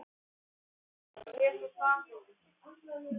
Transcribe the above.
Auðna, hvaða dagur er í dag?